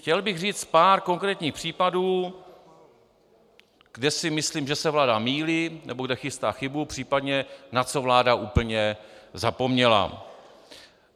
Chtěl bych říct pár konkrétních případů, kde si myslím, že se vláda mýlí nebo kde chystá chybu, případně na co vláda úplně zapomněla.